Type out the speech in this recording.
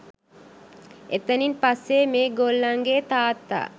එතනින් පස්සේ මේ ගොල්ලන්ගේ තාත්තා